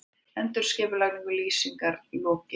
Endurskipulagningu Lýsingar lokið